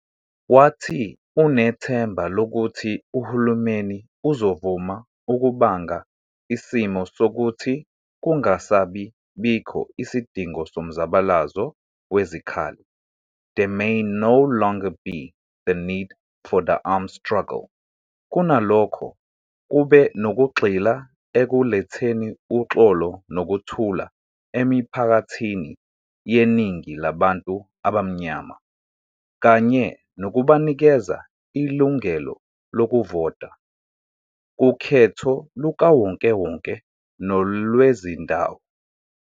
Wathi unethemba lokuthi uhulumeni uzovuma ukubanga isimo sokuthi kungasabi bikho isidingo somzabalazo wezikhali, "there may no longer be the need for the armed struggle", kunalokho, kube nokugxila ekuletheni uxolo nokuthula emiphakathini yeningi labantu abamnyama, kanye nokubanikeza ilungalo lokuvota kukhetho lukawonkewonke nolwezindawo.